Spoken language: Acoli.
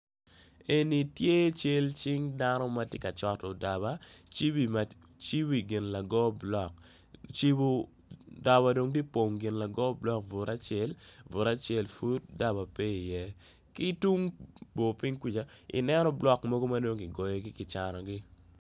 Eni tye cal cing dano matye ka coto daba cibo iwi gin lago block daba dong tye ka pongo gin lago block bute acel bute acel pud daba pe i ye kitung bor ping kuca neno block mogo madong gigoyo gi gicanogi.